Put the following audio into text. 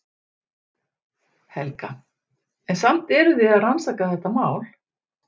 Helga: En samt eruð þið að rannsaka þetta mál?